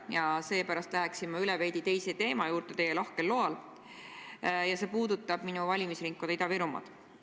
Ja seepärast lähen ma teie lahkel loal veidi teise teema juurde, see puudutab minu valimisringkonda Ida-Virumaad.